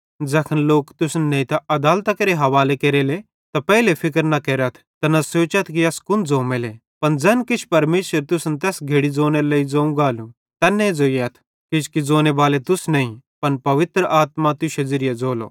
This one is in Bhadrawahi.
ज़ैखन लोक तुसन नेइतां अदालतां केरे हवाले केरले त पेइले फिक्र न केरथ त न सोचथ कि अस कुन ज़ोमेले पन ज़ैन किछ परमेशर तुसन तैस घड़ी ज़ोनेरे लेइ ज़ोवं गालू तैन्ने ज़ोइयथ किजोकि ज़ोनेबाले तुस नईं पन पवित्र आत्मा तुश्शे ज़िरिये ज़ोलो